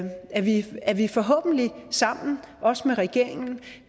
vi at vi forhåbentlig sammen også med regeringen